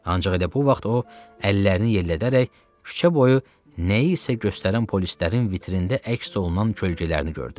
Ancaq elə bu vaxt o, əllərini yellədərək küçə boyu nəyisə göstərən polislərin vitrində əks olunan kölgələrini gördü.